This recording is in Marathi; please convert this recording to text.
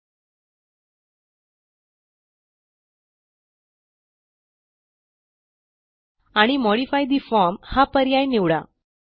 एलटीपॉजेग्ट आणि मॉडिफाय ठे फॉर्म हा पर्याय निवडा